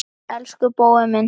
Elsku Bói minn.